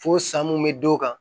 Fo san mun be d'o kan